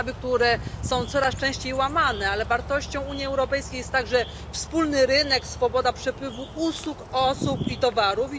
Podstawy, które są coraz częściej łamane, ale wartością Unii Europejskiej jest także wspólny rynek, swoboda przepływu usług, osób i towarów.